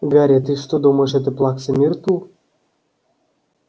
гарри ты что думаешь это плакса миртл